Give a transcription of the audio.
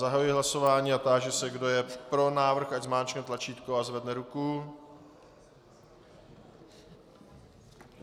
Zahajuji hlasování a táži se, kdo je pro návrh, ať zmáčkne tlačítko a zvedne ruku.